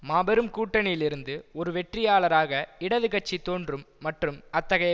மாபெரும் கூட்டணியிலிருந்து ஒரு வெற்றியாளராக இடது கட்சி தோன்றும் மற்றும் அத்தகைய